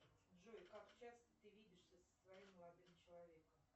джой как часто ты видишься со своим молодым человеком